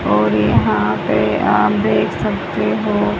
और यहाँ पे आप देख सकते हो --